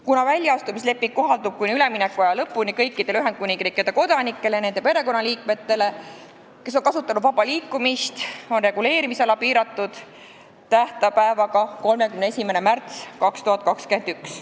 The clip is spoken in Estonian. Kuna väljaastumisleping kohaldub kuni üleminekuaja lõpuni kõikidele Ühendkuningriigi kodanikele, kes on kasutanud vaba liikumist, ja nende perekonnaliikmetele, on reguleerimisala piiratud tähtpäevaga 31. märts 2021.